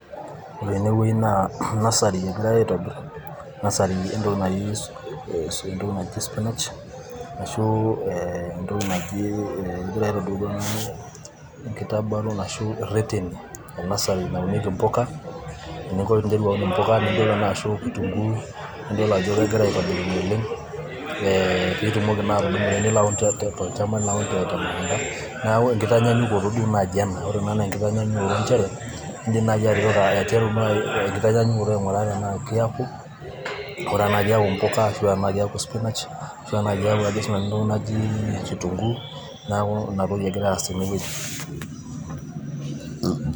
ore tenewueji naa nursery egiray aitobirr nursery entoki entoki naji spinach asahu entoki naji egiray aitobirr duo tenakata ashu irreteni naunieki impuka eninko piinteru aun impuka ninterua naa ashu kitunguu nidol ajo kegira aitobirunye oleng piitumoki naa atudumu ake nilo aun tolchamba nilo aun temukunta neeku enkitanyaanyukoto duo naaji ena ore ena naa enkitanyaanyukoto nchere indim naaji atipika aiteru naaji enkitanyaanyukoto aing'uraa tenaa kiaku aing'uraa tenaa kiaku impuka ash enaa kiaku spinach ashu enaa kiaku ajo sii nanu entoki naji kitunguu neeku ina toki egiray aas tenewueji.